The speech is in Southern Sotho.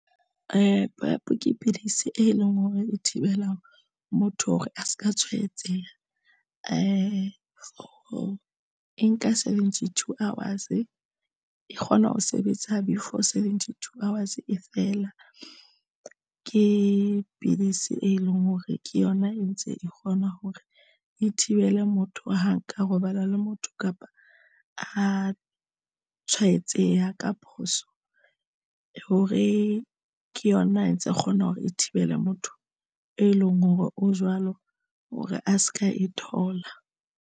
Prep ke pidisi e leng hore e thibelang motho hore a se ka tshwaetseha for e nka seventy two hours e kgona ho sebetsa before seventy, two hours e feela ke pidisi e leng hore ke yona e ntse e kgona hore e thibele motho ha nka robala le motho, kapa a tshwaetseya ka phoso hore ke yona e ntse kgona hore e thibele motho, e leng hore o jwalo hore a se ka e thola.